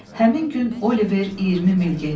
Həmin gün Oliver 20 mil getdi.